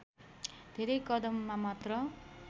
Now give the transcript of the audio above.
धेरै कदममा मात्र